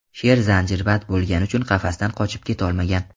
Sher zanjirband bo‘lgani uchun qafasdan qochib ketolmagan.